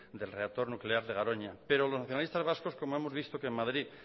del reactor nuclear de garoña pero los nacionalistas vascos como hemos visto que en madrid